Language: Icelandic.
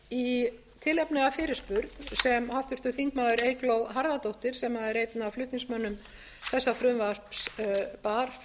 í tilefni af fyrirspurn sem háttvirtur þingmaður eygló harðardóttir sem er einn af flutningsmönnum þessa frumvarps bar